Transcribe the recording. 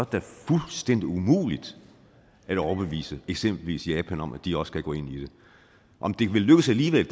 da fuldstændig umuligt at overbevise eksempelvis japan om at de også skal gå ind i det om det vil lykkes alligevel